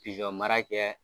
Pizɔn mara kɛ